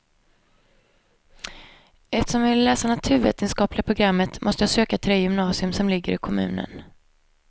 Eftersom jag ville läsa naturvetenskapliga programmet måste jag söka till det gymnasium som ligger i kommunen.